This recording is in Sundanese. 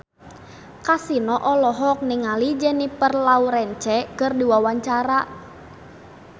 Kasino olohok ningali Jennifer Lawrence keur diwawancara